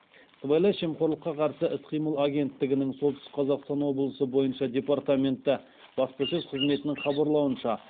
сыбайлас жемқорлыққа қарсы іс қимыл агенттігінің солтүстік қазақстан облысы бойынша департаменті баспасөз қызметінің хабарлауынша